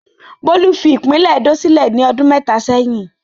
Bólú fi ìpínlẹ̀ Edó sílẹ̀ ní ọdún mẹ́ta sẹ́yìn.